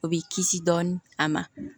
O bi kisi dɔɔni a ma